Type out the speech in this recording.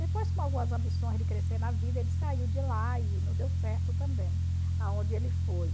Depois, com algumas ambições de crescer na vida, ele saiu de lá e não deu certo também aonde ele foi.